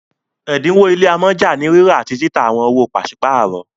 ẹdinwo ile amọja ni rírà àti títà àwọn owo paṣipaarọ